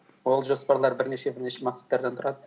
ол жоспарлар бірнеше бірнеше мақсаттардан тұрады